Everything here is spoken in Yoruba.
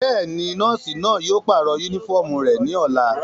Bẹ́ẹ̀ni, nọọsi náa yóò parọ unifọmú rẹ ni ọla.